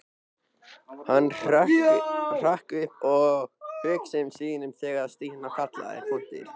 Hann hrökk upp úr hugsunum sínum þegar Stína kallaði.